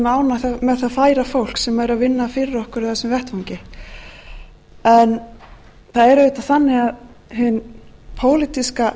nánar með það færa fólk sem er að vinna fyrir okkur á þessum vettvangi en það er auðvitað þannig að hin pólitíska